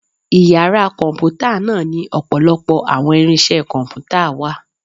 Ìyára Kọǹpútà náá ni ọpọlọpọ awọn irinse Kọǹpútà wà